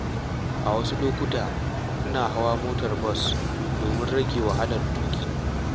A wasu lokuta, ina hawan motar bas domin rage wahalar tuƙi.